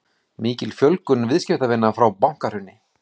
Mikil fjölgun viðskiptavina frá bankahruni